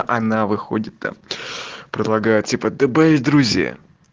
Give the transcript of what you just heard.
она выходит там предлагает типа добавить в друзья